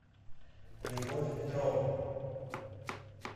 любовь петровна